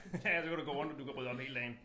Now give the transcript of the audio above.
Ja så kan du gå rundt og du kan rydde op hele dagen